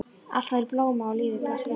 Allt var í blóma og lífið blasti við.